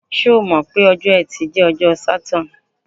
Ṣé o mọ̀ pé ọjọ́ Ẹtì jẹ́ ọjọ́ Saturn?